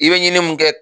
I bɛ ɲini mun kɛ